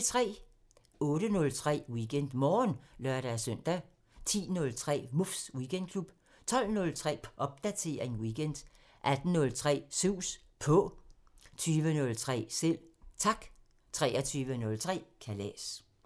08:03: WeekendMorgen (lør-søn) 10:03: Muffs Weekendklub 12:03: Popdatering weekend 18:03: Sus På 20:03: Selv Tak 23:03: Kalas